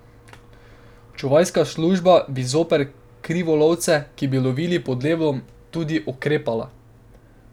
Čuvajska služba bi zoper krivolovce, ki bi lovili pod ledom, tudi ukrepala.